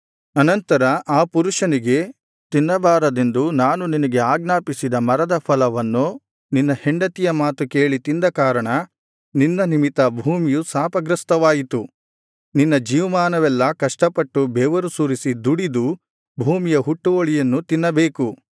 ಅನಂತರ ಆ ಪುರುಷನಿಗೆ ತಿನ್ನಬಾರದೆಂದು ನಾನು ನಿನಗೆ ಆಜ್ಞಾಪಿಸಿದ ಮರದ ಫಲವನ್ನು ನಿನ್ನ ಹೆಂಡತಿಯ ಮಾತು ಕೇಳಿ ತಿಂದ ಕಾರಣ ನಿನ್ನ ನಿಮಿತ್ತ ಭೂಮಿಯು ಶಾಪಗ್ರಸ್ಥವಾಯಿತು ನಿನ್ನ ಜೀವಮಾನವೆಲ್ಲಾ ಕಷ್ಟಪಟ್ಟು ಬೆವರು ಸುರಿಸಿ ದುಡಿದು ಭೂಮಿಯ ಹುಟ್ಟುವಳಿಯನ್ನು ತಿನ್ನಬೇಕು